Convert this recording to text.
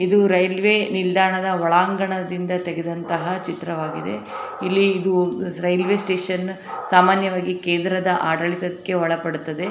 ಇದು ರೈಲ್ವೆ ನಿಲ್ದಾಣದ ಒಳಾಂಗಣದಿಂದ ತೇಗದಂತಹ ಚಿತ್ರವಾಗಿದೆ ಇಲ್ಲಿ ಇದು ರೈಲ್ವೆ ಸ್ಟೇಷನ್ ಸಾಮಾನ್ಯವಾಗಿ ಕೇಂದ್ರದ ಆಡಳಿತಕ್ಕೆ ಒಳಪಡುತ್ತದೆ.